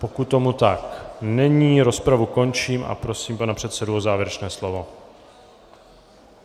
Pokud tomu tak není, rozpravu končím a prosím pana předsedu o závěrečné slovo.